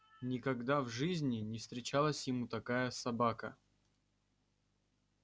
никогда в жизни не встречалась ему такая собака